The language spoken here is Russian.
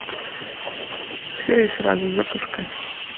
все и сразу запускай